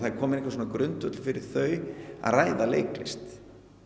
kominn einhver grundvöllur fyrir þau að ræða leiklist